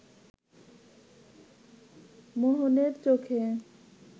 মোহনের চোখে